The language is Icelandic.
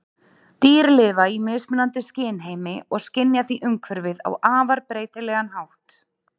Dýr lifa í mismunandi skynheimi og skynja því umhverfið á afar breytilegan hátt.